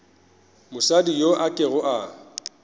mosadi yo a kego a